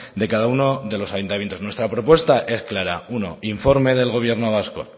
de cada uno de los ayuntamientos nuestra propuesta es clara uno informe del gobierno vasco